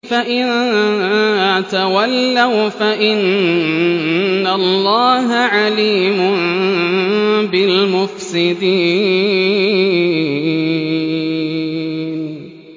فَإِن تَوَلَّوْا فَإِنَّ اللَّهَ عَلِيمٌ بِالْمُفْسِدِينَ